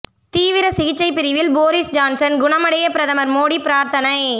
தீவிர சிகிச்சை பிரிவில் போரிஸ் ஜான்சன் குணமடைய பிரதமர் மோடி பிரார்த்தனை